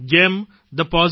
જેમ thepositiveindia